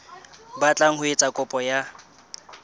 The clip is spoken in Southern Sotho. batlang ho etsa kopo ya